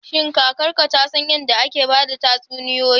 Shin kakarka ta san yadda ake ba da tatsuniyoyi?